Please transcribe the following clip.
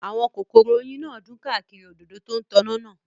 Àwọn kòkòrò oyin náà dún káàkiri òdòdó tó ń tàn náà